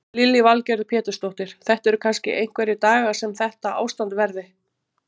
Lillý Valgerður Pétursdóttir: Þetta séu kannski einhverjir dagar sem þetta ástand verði?